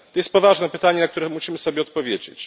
To jest poważne pytanie, na które musimy sobie odpowiedzieć.